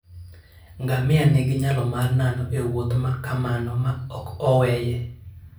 Ngamia nigi nyalo mar nano e wuoth ma kamano ma ok oweye.